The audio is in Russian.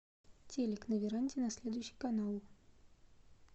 телик на веранде на следующий канал